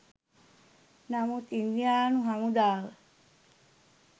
නමුත් ඉන්දියානු හමුදාව